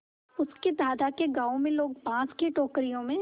उसके दादा के गाँव में लोग बाँस की टोकरियों में